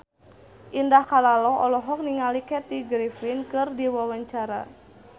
Indah Kalalo olohok ningali Kathy Griffin keur diwawancara